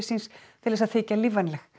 til þess að þykja lífvænleg